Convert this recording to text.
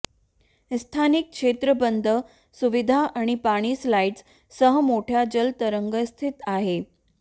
स्थानिक क्षेत्र बंद सुविधा आणि पाणी स्लाइड सह मोठ्या जलतरण स्थित आहे